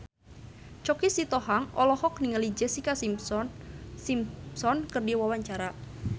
Choky Sitohang olohok ningali Jessica Simpson keur diwawancara